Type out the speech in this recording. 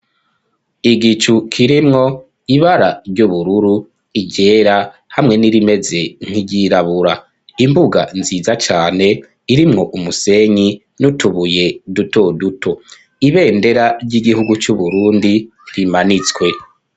Igicu kirimwo ibara ry'ubururu, iryera hamwe n'irimeze nk'iryirabura, imbuga nziza cane irimwo umusenyi n'utubuye duto duto, ibendera ry'igihugu c'uBurundi rimanitswe.